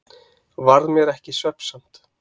Varð mér ekki svefnsamt.